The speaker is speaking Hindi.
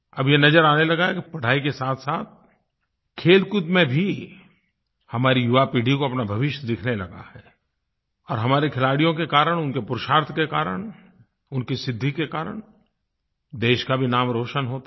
अब ये नज़र आने लगा है कि पढ़ाई के साथसाथ खेलकूद में भी हमारी युवा पीढ़ियों को अपना भविष्य दिखने लगा है और हमारे खिलाड़ियों के कारण उनके पुरुषार्थ के कारण उनकी सिद्धि के कारण देश का भी नाम रोशन होता है